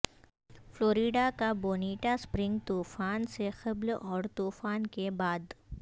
Florida کا Bonita Spring طوفان سے قبل اور طوفان کے بعد